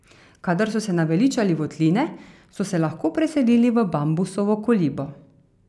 Kadar so se naveličali votline, so se lahko preselili v bambusovo kolibo.